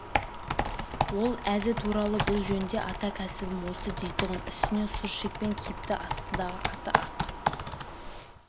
ол әзі туралы бұл жөнінде ата кәсібім осы дейтұғын үстіне сұр шекпен киіпті астындағы аты ақ